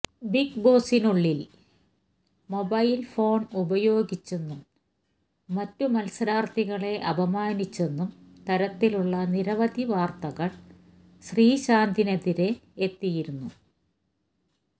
ബിഗ്ബോസിനുളളില് mobile phone ഉപയോഗിച്ചെന്നും മറ്റു മത്സരാര്ത്ഥികളെ അപമാനിച്ചെന്നും തരത്തിലുളള നിരവധി വാര്ത്തകള് ശ്രീശാന്തിനെതിരെ എത്തിയിരുന്നു